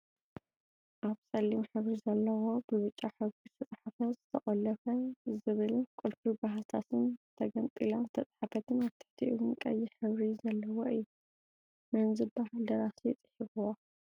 ኣብ ፀሊም ሕብሪ ዘለዎ ብብጫ ሕበሪ ዝተፀሓፈ ዘተቀለፎ ዝብልን ቁልፊ ብሃሳስን ተገሚጥላን ዝተፅሓፈትን ኣብ ትሕቲኡ እውን ቀይሕ ሕብሪ ዘለዎ እዩ። መን ዝብሃል ደራሲ ፅሒፍዋ?